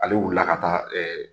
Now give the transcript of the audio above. Ale wulila ka taa ɛɛ